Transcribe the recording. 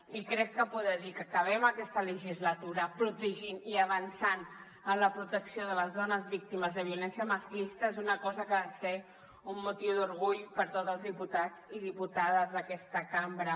i crec que poder dir que acabem aquesta legislatura protegint i avançant en la protecció de les dones víctimes de violència masclista és una cosa que ha de ser un motiu d’orgull per a tots els diputats i diputades d’aquesta cambra